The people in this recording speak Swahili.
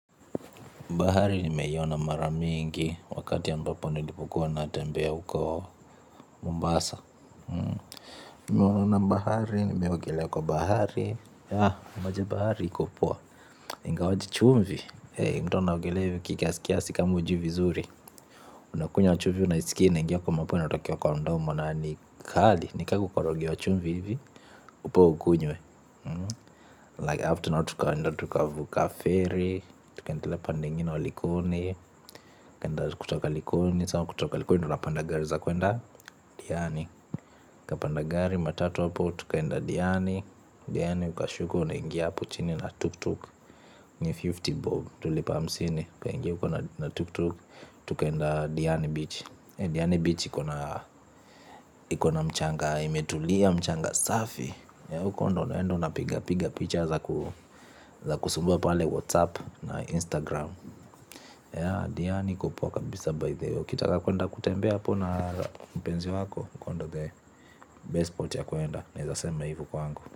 Bahari nimeiona mara mingi wakati ya ambapo nilipokua natembea uko Mombasa bahari nimeona bahari nimeogelea kwa bahari. Maji ya bahari iko poa, ingawaje chumvi ei mtu anaogelea hivi kiasikiasi kama hujui vizuri. Unakunya chumvi unaiskia kwa mpua inatokea kwa mdomo na ni kali ni ka kukorogewa chumvi hivi upewe ukunywe Like after now tukaenda tukavuka ferry. Tukaendelea pande ingine wa likoni. Tukaenda kutoka likoni Sa kutoka likoni tunapanda gari za kuenda Diani tupanda gari matatu hapo tukaenda Diani Diani ukashuka unangia hapo chini na tuk-tuk. Ni hamsini bob. Tulipa hamsini. Tukaenda Diani Beach Diani Beach ikona. Ikona mchanga imetulia mchanga safi. Ya uko ndio unaenda unapiga picha za kusumbua pale whatsapp na instagram. Ya diani iko poa kabisa by the way. Ukitaka kuenda kutembe hapo na mpenzi wako. Uko ndio the best spot ya kuenda. Naezasema hivyo kwangu.